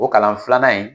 O kalan filanan in